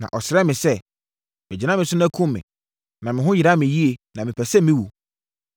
“Na ɔsrɛɛ me sɛ, ‘Bɛgyina me so na kum me, na me ho yera me yie, na mepɛ sɛ mewu.’